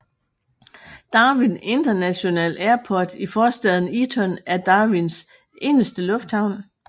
Darwin International Airport i forstaden Eaton er Darwins eneste lufthavn